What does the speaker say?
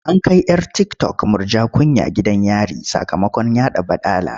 An kai 'yar tiktok Murja Kunya gidan yari sakamakon yaɗa baɗala.